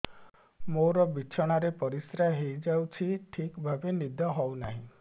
ମୋର ବିଛଣାରେ ପରିସ୍ରା ହେଇଯାଉଛି ଠିକ ଭାବେ ନିଦ ହଉ ନାହିଁ